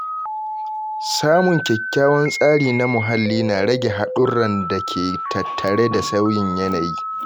Samun kyakkyawan tsari na muhalli yana rage haɗurran da ke tattare da sauyin yanayi.